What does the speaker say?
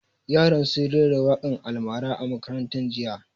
Yaran sun rera waƙan almara a makaranta jiya